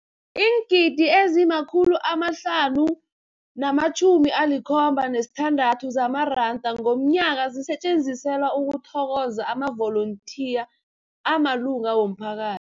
Iingidi ezima-576 zamaranda ngomnyaka zisetjenziselwa ukuthokoza amavolontiya amalunga womphaka